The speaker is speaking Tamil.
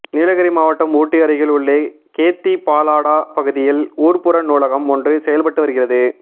நீலகிரி மாவட்டம் ஊட்டி அருகில் உள்ள கேத்தி பாலாடா பகுதியில் ஊர்ப்புற நூலகம் ஒன்று செயல்பட்டு வருகிறது